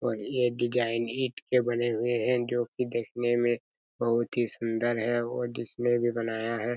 और ये डिज़ाइन ईट के बने हुए हैं जो की देखने में बहुत ही सुन्दर हैं और जिसने भी बनाया हैं।